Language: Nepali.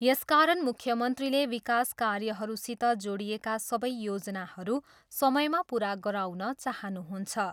यसकारण मुख्यमन्त्रीले विकास कार्यहरूसित जोडिएका सबै योजनाहरू समयमा पुरा गराउन चाहनुहुन्छ।